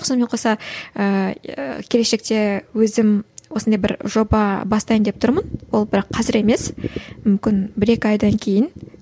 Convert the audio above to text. сонымен қоса ыыы келешекте өзім осындай бір жоба бастайын деп тұрмын ол бірақ қазір емес мүмкін бір екі айдан кейін